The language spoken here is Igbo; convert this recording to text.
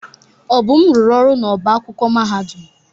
Obum rụrụ ọrụ n'ọbá akwụkwọ mahadum.